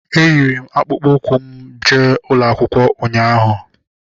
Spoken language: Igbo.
Eyiri m akpụkpọ ụkwụ m jee ụlọakwụkwọ ụnyaahụ